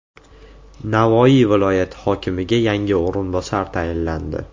Navoiy viloyati hokimiga yangi o‘rinbosar tayinlandi.